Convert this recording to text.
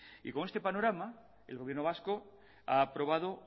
y con este panorama el gobierno vasco ha aprobado